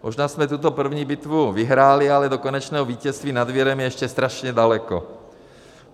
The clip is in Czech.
Možná jsme tuto první bitvu vyhráli, ale do konečného vítězství nad virem je ještě strašně daleko.